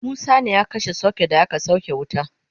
Musa ne ya kashe socket da aka sauke wuta